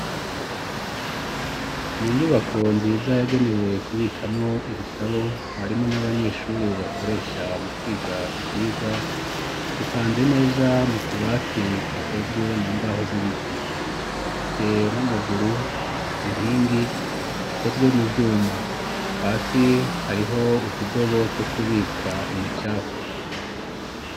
Mu nyubako nziza yagenewe kubikamwo ibitabo, harimwo n'abanyeshuri bakoresha mu kwiga ivyigwa ,hipanze neza mu tubati tukozwe mu mbaho z'ibiti, ifise n'amaguru inkingi ikozwe mu vyuma ,hasi hariho utudobo two kubika imicafu.